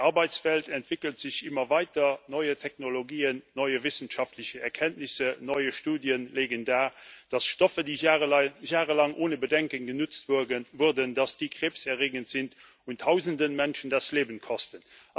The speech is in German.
Die Arbeitswelt entwickelt sich immer weiter, neue Technologien, neue wissenschaftliche Erkenntnisse, neue Studien legen dar, dass Stoffe, die jahrelang ohne Bedenken genutzt wurden, krebserregend sind und tausende Menschen das Leben kosten.